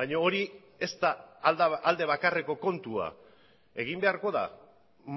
baina hori ez da alde bakarreko kontua egin beharko da